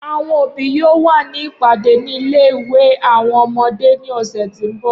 Awọn obi yoo wa ni ipade ni ile-iwe awọn ọmọde ni ọsẹ ti nbọ.